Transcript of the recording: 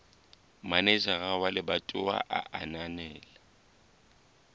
manejara wa lebatowa a ananela